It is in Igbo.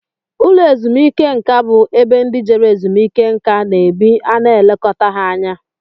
Ụlọ ezumike nká bú ebe ndị Jere ezumike nká na-ebi ana elekota ha anya.